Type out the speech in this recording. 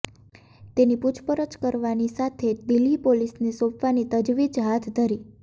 તેની પુછપરછ કરવાની સાથે દિલ્હી પોલીસને સોંપવાની તજવીજ હાથ ધરી છે